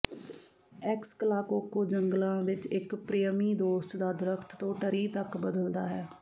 ਐਕਸਕਲਾਕੋਕੋ ਜੰਗਲਾਂ ਵਿਚ ਇਕ ਪ੍ਰਿਅਮੀ ਦੋਸਤ ਦਾ ਦਰਖ਼ਤ ਤੋਂ ਟਰੀ ਤਕ ਬਦਲਦਾ ਹੈ